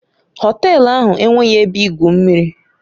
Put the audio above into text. Họtelu ahụ enweghị ebe igwu mmiri